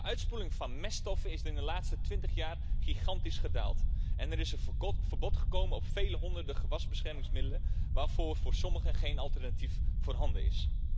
De uitspoeling van meststoffen is in de laatste twintig jaar gigantisch gedaald en er is een verbod gekomen op vele honderden gewasbeschermingsmiddelen waarbij voor sommigen geen alternatief voorhanden is.